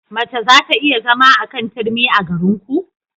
Mace za ta iya zama a kan turmi a garinku?